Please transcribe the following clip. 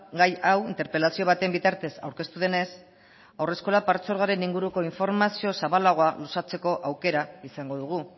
gai hau interpelazio baten bitartez aurkeztu denez haurreskolak partzuergoaren inguruko informazio zabalagoa luzatzeko aukera izango dugu